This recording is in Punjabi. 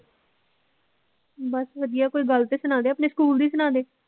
ਬਸ ਵਧੀਆ ਕੋਈ ਗੱਲ ਤੇ ਸੁਣਾ ਦੇ ਆਪਣੇ ਸਕੂਲ ਦੀ ਸੁਣਾਦੇ